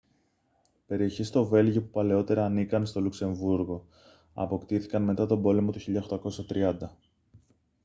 περιοχές στο βέλγιο που παλαιότερα ανήκαν στο λουξεμβρούργο αποκτήθηκαν μετά τον πόλεμο του 1830